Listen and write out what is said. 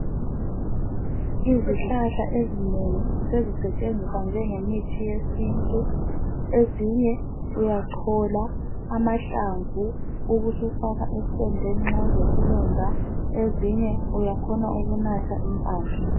Izihlahla ezinengi sezisetshenziswa njenge mithi yesintu. Ezinye uyachola amahlamvu ubusufaka esilondeni nxa ulesilonda .Ezinye uyakhona ukunatha impande .